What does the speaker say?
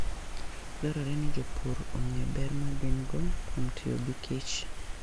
Dwarore ni jopur ong'e ber ma gin - go kuom tiyo gi kich.